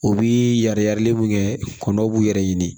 U bi yari yari mun kɛ kɔnɔw b'u yɛrɛ ɲini